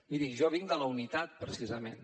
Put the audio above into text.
miri jo vinc de la unitat precisament